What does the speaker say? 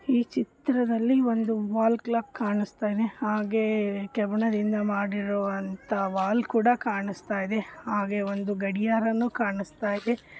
ಈ ಚಿತ್ರದಲ್ಲಿ ಒಂದು ವಾಲ್ ಕ್ಲಾಕ್ ಕಾಣಿಸುತ್ತದೆ ಹಾಗೆ ಒಂದು ಕೆಬ್ಬಣದಿಂದ ಮಾಡಿರುವಂತಹ ಒಂದು ವಾಲ್ ಕೂಡ ಕಾಣಿಸ್ತಾ ಇದೆ ಹಾಗೆ ಒಂದು ಗಡಿಯಾರನು ಕಾಣಿಸ್ತಾ ಇದೆ.